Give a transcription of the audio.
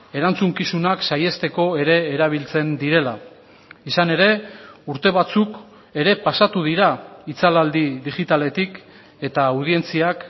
erantzukizunak saihesteko ere erabiltzen direla izan ere urte batzuk ere pasatu dira itzalaldi digitaletik eta audientziak